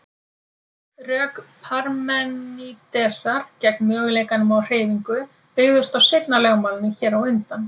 Rök Parmenídesar gegn möguleikanum á hreyfingu byggðust á seinna lögmálinu hér á undan.